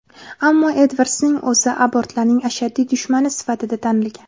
Ammo Edvardsning o‘zi abortlarning ashaddiy dushmani sifatida tanilgan.